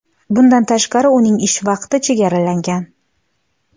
Bundan tashqari, uning ish vaqti chegaralangan.